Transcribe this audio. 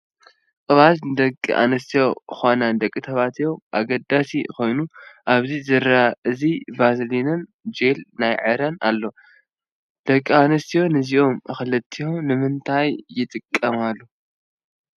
ቅብኣት ንደቂ ኣንስትዮ ኮነ ንደቂ ተባዕትዮ አገዳሲ ኮይኑ ኣብዚ ዝረአ እዚ ቫዝሊንን ጀል ናይ ዕረን ኣሎ፡፡ ደቂ ኣንስትዮ ነዚኦም ክልቲኦም ንምንታይ ይጥቀማሉ?